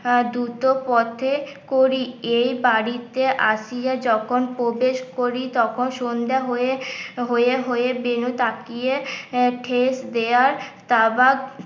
আহ দুটো পথে করি এই বাড়িতে আসিয়া যখন প্রবেশ করি তখন সন্ধ্যে হয়ে এ হয়ে হয়ে বেনু তাকিয়ে ঠেস দেওয়ার